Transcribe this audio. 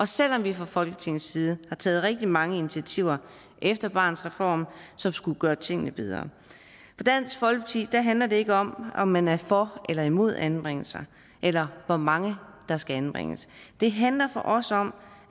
selv om vi fra folketingets side har taget rigtig mange initiativer efter barnets reform som skulle gøre tingene bedre for dansk folkeparti handler det ikke om om man er for eller imod anbringelser eller hvor mange der skal anbringes det handler for os om